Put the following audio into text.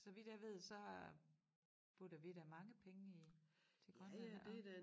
Så vidt jeg ved så øh putter vi da mange penge i til Grønland og